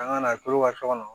An ka na to ka sokɔnɔ